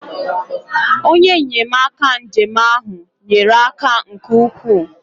onye nnyemaka njem ahụ nyere aka nke ukwuu